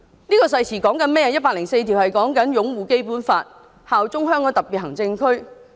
《基本法》第一百零四條是有關擁護《基本法》，效忠香港特別行政區。